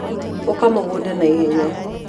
ũka mũgũnda na ihenya.